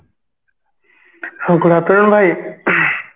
ହଁ good afternoon ଭାଇ ing